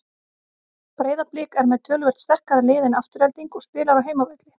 Breiðablik er með töluvert sterkara lið en Afturelding og spilar á heimavelli.